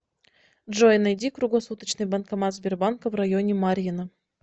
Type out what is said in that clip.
джой найди круглосуточный банкомат сбербанка в районе марьино